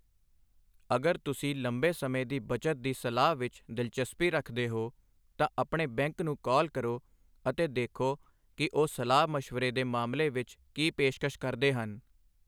ਅਗਰ ਤੁਸੀਂ ਲੰਬੇ ਸਮੇਂ ਦੀ ਬੱਚਤ ਦੀ ਸਲਾਹ ਵਿੱਚ ਦਿਲਚਸਪੀ ਰੱਖਦੇ ਹੋ, ਤਾਂ ਆਪਣੇ ਬੈਂਕ ਨੂੰ ਕਾਲ ਕਰੋ ਅਤੇ ਦੇਖੋ ਕਿ ਉਹ ਸਲਾਹ ਮਸ਼ਵਰੇ ਦੇ ਮਾਮਲੇ ਵਿੱਚ ਕੀ ਪੇਸ਼ਕਸ਼ ਕਰਦੇ ਹਨ।